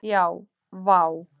Já vá!